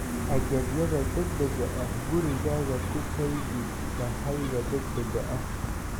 "Agabyada degdega ah gurigaaga ku kaydi sahayda degdega ah.